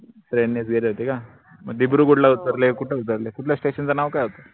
train नीच गेले होते का म्हनजे ला उतरले कूट उतरले कुठल्या station च नाव काय होत?